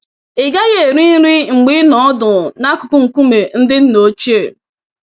Ị gaghị eri nri mgbe ị nọ ọdụ nakụkụ nkume ndị nna ochie.